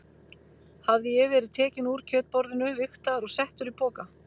Hafði ég verið tekinn úr kjötborðinu, vigtaður og settur í poka?